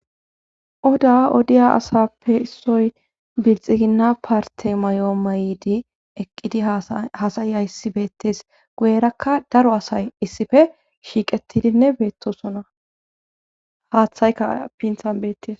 oda odiya asappe issoy bilxiginna parte may7o may7di eqqidi hasayi a issi beettes guyerakka daro asay issife shiiqettidinne beettosona haaththaykka pinthan bettis